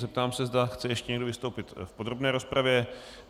Zeptám se, zda chce ještě někdo vystoupit v podrobné rozpravě.